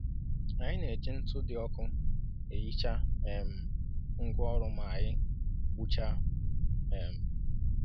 Anyị na-eji ntụ dị ọkụ e hichaa um ngwa ọrụ maanyị gbuchaa. um